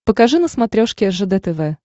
покажи на смотрешке ржд тв